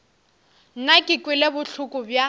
nna ke kwele bohloko bja